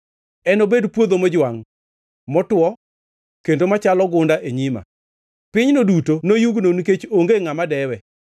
Enobed puodho mojwangʼ, motwo, kendo machalo gunda e nyima; pinyno duto noyugno nikech onge ngʼama dewe.